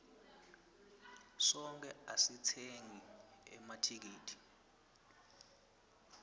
sonkhe asitsengeni emathikithi